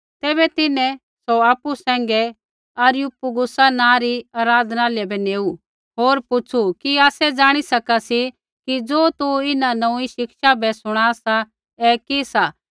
तैबै तिन्हैं सौ आपु सैंघै अरियुपगुसा नाँ री आराधनालय बै नेऊ होर पुछ़ू कि आसै ज़ाणी सका सी कि ज़ो तू इन्हां नोऊँई शिक्षा बै शुणा सा ऐ कि सी